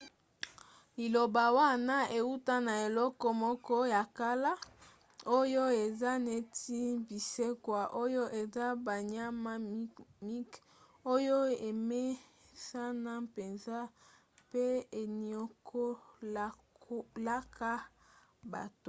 liloba wana euta na eloko moko ya kala oyo eza neti binsekwa oyo eza banyama mike oyo emesana mpenza mpe eniokolaka bato